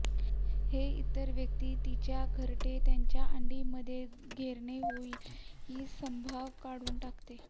हे इतर व्यक्ती तिच्या घरटे त्यांची अंडी मध्ये घेरणे होईल की संभव काढून टाकते